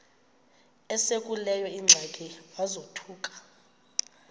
esekuleyo ingxaki wazothuka